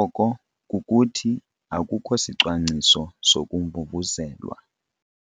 oko kukuthi akukho sicwangciso sokumvumvuzelwa.